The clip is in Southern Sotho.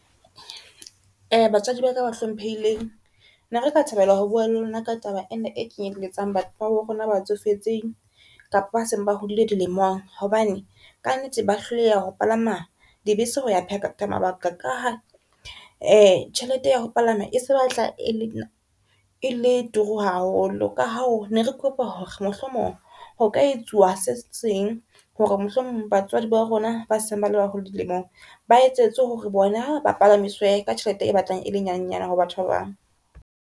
Batswadi ba ka ba hlomphehileng, ne re ka thabela ho bua le lona ka taba ena e kenyelletsang batho ba bo rona ba tsofetseng kapa ba seng ba hodile dilemong, hobane ka nnete ba hloleha ho palama di bese hoya phetha mabaka ka ha tjhelete ya ho palama e se batla e le turu haholo. Ka hoo ne re kopa hore mohlomong ho ka etsuwa se seng hore mohlomong, batswadi ba rona ba seng bale baholo dilemong ba etsetswe hore re bona ba palamiswe ka tjhelete e batlang e le nyenyane ho batho ba bang.